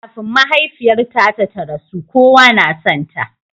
Kafin mahaifiyarta ta rasu, kowa na sonta.